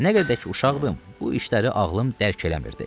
Nə qədər ki uşaqdım, bu işləri ağlım dərk eləmirdi.